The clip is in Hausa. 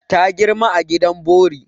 Ta girma a gidan bori.